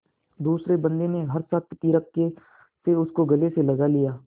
दूसरे बंदी ने हर्षातिरेक से उसको गले से लगा लिया